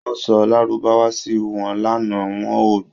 Wọ́n sọ lárúbáwá sí wọn lánàá, wọn ò gbọ́